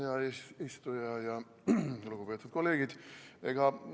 Hea eesistuja ja lugupeetud kolleegid!